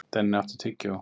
Denni, áttu tyggjó?